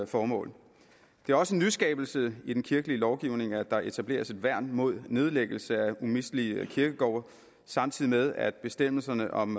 formål det er også en nyskabelse i den kirkelige lovgivning at der etableres et værn mod nedlæggelse af umistelige kirkegårde samtidig med at bestemmelserne om